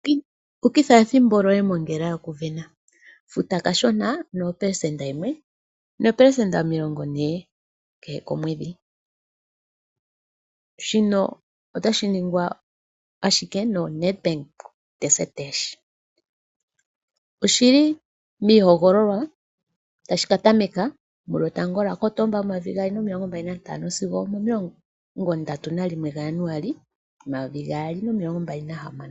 Ukitha ethimbo lyoye mongela yokusindana. Futa kashona, ano opelesenda yimwe noopelesenda omilongo ne kehe komwedhi. Shika otashi ningwa ashike noNedbank Desert Dash. Oshi li miihogololwa tashi ka tameka 1 Kotoba 2025 sigo 31 Januali 2026.